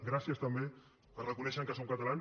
gràcies també per reconèixer me que som catalans